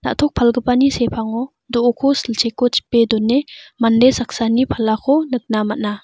na·tok palgipani sepango do·oko silcheko chipe done mande saksani palako nikna man·a.